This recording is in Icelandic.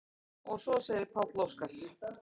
Og svo sagði Páll Óskar: